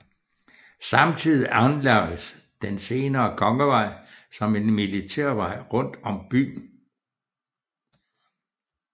Samtidig anlagdes den senere Kongevej som en militærvej rundt om byen